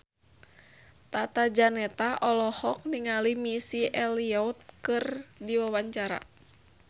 Tata Janeta olohok ningali Missy Elliott keur diwawancara